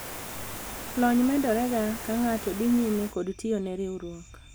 lony medore ga ka ng'ato dhi nyime kod tiyo ne riwruok